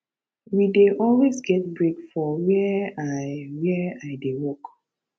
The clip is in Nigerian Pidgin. we dey always get break for where i where i dey work